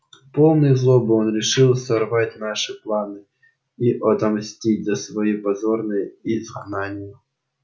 полный злобы он решил сорвать наши планы и отомстить за своё позорное изгнание